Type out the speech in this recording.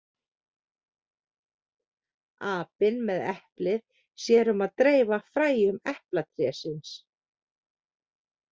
Apinn með eplið sér um að dreifa fræjum eplatrésins.